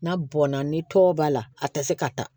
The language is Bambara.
N'a bɔnna ni tɔw b'a la a te se ka taa